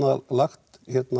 lagt